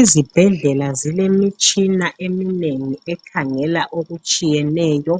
Izibhedlela zilemitshina eminengi ekhangela okutshiyeneyo,